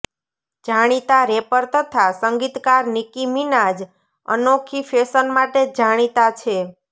જાણીતા રૅપર તથા સંગીતકાર નિકી મિનાજ અનોખી ફૅશન માટે જાણીતા છે